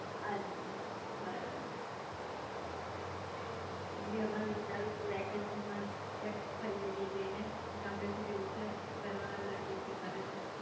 અચ્છા બરાબર હું બી હમણાં વિચારું જ છું વેક્શન માં ક્યાંક ફરિયાએ જય ને ગામડે બી જવું છે ઘર વાળા બધા કે કે કરે છે એટલે